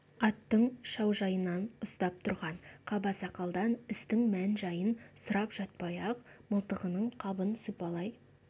аттың шаужайынан ұстап тұрған қабасақалдан істің мән-жайын сұрап жатпай-ақ мылтығының қабын сипалай